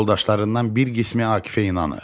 Yoldaşlarından bir qismi Akifə inanır.